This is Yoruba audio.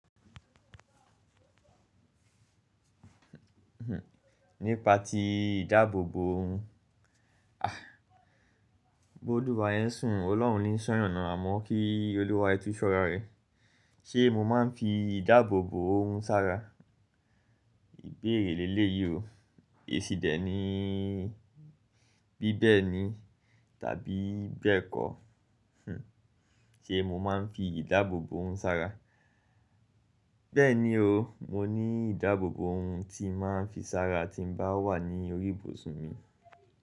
Nípa tí ìdáàbòbò ohun, ah. Bóluwa re n sùn Ọlọ́run ni sọ́yàn náà á mọ́ kí Olúwa re tùn so ra re Ṣé mo máa ń fi ìdáàbòbò ohun sára? Ìbéèrè léleyií o. Èsì dẹ̀ ní bí bẹ́ẹ̀ ni tàbí bẹ́ẹ̀ kọ́. Ṣé mo máa ń fi ìdáàbòbò ohun sára? Bẹ́ẹ̀ ni o, mo ní ìdáàbòbò ohun tí n màá ń fi sára tí mo bá wà ní orí ìbòsùn mi.